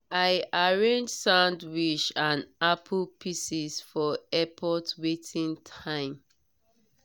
i arrange sandwich and apple pieces for airport waiting time.